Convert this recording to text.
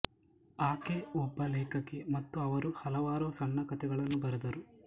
ಆಕೆ ಒಬ್ಬ ಲೇಖಕಿ ಮತ್ತು ಅವರು ಹಲವಾರು ಸಣ್ಣ ಕಥೆಗಳನ್ನು ಬರೆದರು